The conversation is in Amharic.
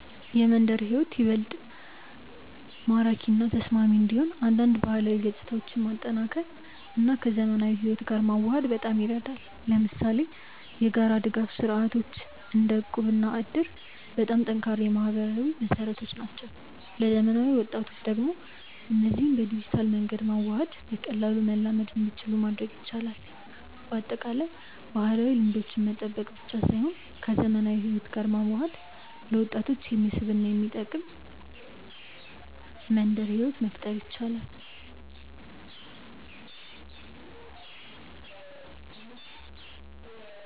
የመንደር ሕይወት እንዲበልጥ ማራኪ እና ተስማሚ እንዲሆን አንዳንድ ባህላዊ ገጽታዎችን ማጠናከር እና ከዘመናዊ ሕይወት ጋር መዋሃድ በጣም ይረዳል። ለምሳሌ የጋራ ድጋፍ ስርዓቶች እንደ እቁብ እና እድር በጣም ጠንካራ የማህበራዊ መሰረቶች ናቸው። ለዘመናዊ ወጣቶች ደግሞ እነዚህን በዲጂታል መንገድ በማዋሃድ በቀላሉ መላመድ እንዲችሉ ማድረግ ይቻላል። በአጠቃላይ፣ ባህላዊ ልምዶችን መጠበቅ ብቻ ሳይሆን ከዘመናዊ ሕይወት ጋር በመዋሃድ ለወጣቶች የሚስብ እና የሚጠቅም መንደር ሕይወት መፍጠር ይቻላል።